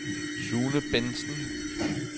Sune Bengtsen